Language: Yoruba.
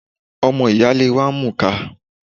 Ọmọ ìyáálé wa ń mùka